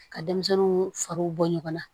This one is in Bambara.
Ka denmisɛnninw fariw bɔ ɲɔgɔn na